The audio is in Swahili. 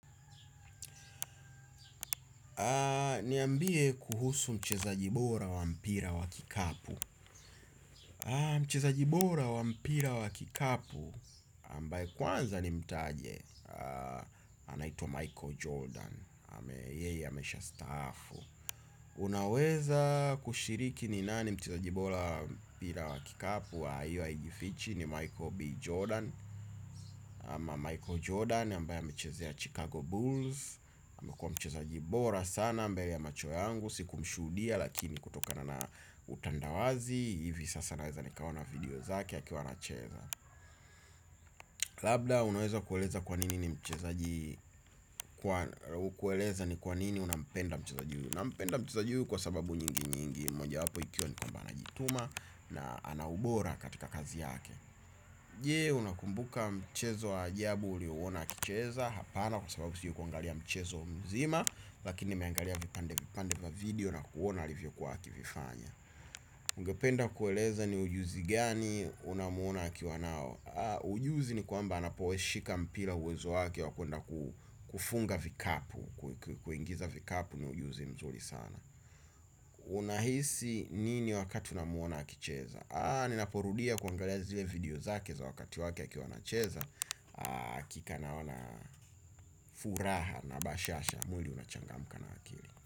Niambie kuhusu mchezaji bora wa mpira wa kikapu. Mchezaji bora wa mpira wa kikapu ambaya kwanza nimtaje. Anaitwa Michael Jordan yeye ameshastahafu. Unaweza kushiriki ni nani mchezaji bora wa mpira wa kikapu? Hiyo hiajifichi ni Michael B. Jordan ama Michael Jordan ambaye amechezea Chicago Bulls. Mchezaji bora sana mbele ya macho yangu sikumshudia lakini kutokana na utandawazi hivi sasa naweza nikaoana video zake akiwa anacheza. Labda unweza kueleza kwanini ni mchezaji kueleza ni kwanini unampenda mchezaji huyu? Nampenda mchezaji kwa sababu nyingi nyingi mojawapo ikiwa ni kwamba anajituma na anaubora katika kazi yake. Je unakumbuka mchezo wa ajabu uliuona akicheza? Hapana kwa sababu sikuangalia mchezo mzima, lakini nimeangalia vipande vipande va video na kuona alivyokuwa akivifanya. Ugependa kueleza ni ujuzi gani unamuona akiwa nao? Ujuzi ni kwamba anapoushika mpira uwezo wake wa kuenda kufunga vikapu. Kuingiza vikapu ni ujuzi mzuri sana. Unahisi nini wakati unamuona akicheza? Ninaporudia kuangalia zile video zake za wakati wake akiwa anacheza hakika naona furaha na bashasha mwili unachangmka na akili.